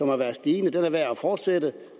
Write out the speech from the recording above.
har været stigende er værd at fortsætte